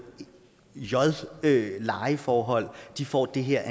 j lejeforhold og de får den her